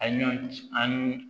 A ɲɔn ci ani